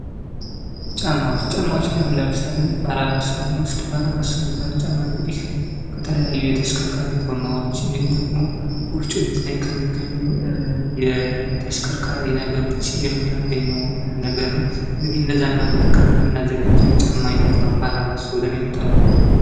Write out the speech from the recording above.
"ጫማዎች ጫማዎች ያው ለምሳሌ በረባሶን ብንወስድ በረባሶ የሚባለው የጫማ ከተለያዩ የተሽከርካሪ ጎማዎች እንድሁም ደግሞ ወፍጮ ቤትላይ ከሚገኙ የተሽከርካሪ ነገሮች የምናገኘው ነገር ነው ።እንግዲህ እነዛን በመጠቀም የምንዘጋጀው የጫማ አይነት ነው።"